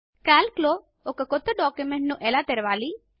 Calc లో ఒక క్రొత్త డాక్యుమెంట్ ను ఎలా తెరావలి